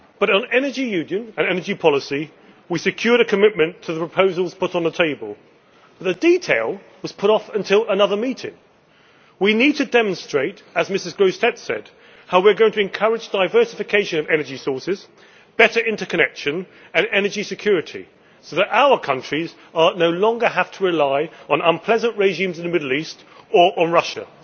On Energy Union and energy policy, we secured a commitment to the proposals put on the table but the detail was put off until another meeting. We need to demonstrate as Ms Grossetête said how we are going to encourage diversification of energy sources, better interconnection and energy security so that our countries no longer have to rely on unpleasant regimes in the Middle East or on Russia.